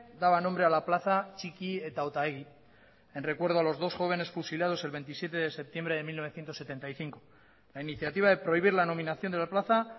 daba nombre a la plaza txiki eta otaegui en recuerdo a los dos jóvenes fusilados el veintisiete de septiembre de mil novecientos setenta y cinco la iniciativa de prohibir la nominación de la plaza